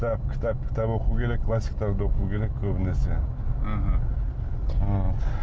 кітап кітап кітап оқу керек классиктарды оқу керек көбінесе мхм